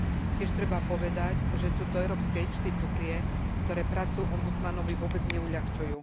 Tiež treba povedať, že sú to európske inštitúcie, ktoré prácu ombudsmanovi vôbec neuľahčujú.